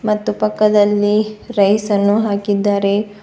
ಮತ್ತು ಪಕ್ಕದಲ್ಲಿ ರೈಸ್ ಅನ್ನು ಹಾಕಿದ್ದಾರೆ.